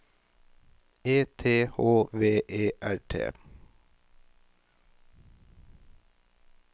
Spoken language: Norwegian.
E T H V E R T